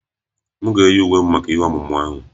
M ga-eyi uwe m maka ihe omume ahụ